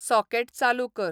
socket चालू कर